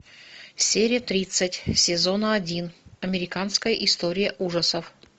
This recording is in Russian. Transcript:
серия тридцать сезона один американская история ужасов